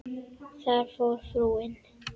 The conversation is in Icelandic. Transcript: Þar fór frúin.